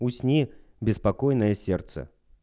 усни беспокойное сердце